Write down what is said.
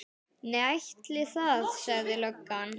Nei, ætli það, sagði löggan.